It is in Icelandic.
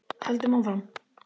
Höldum áfram.